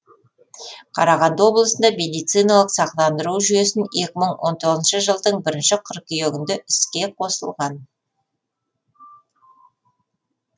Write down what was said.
қарағанды облысында медициналық сақтандыру жүйесімекі мың он тоғызыншы жылдың бірінші қыркүйегінде іске қосылған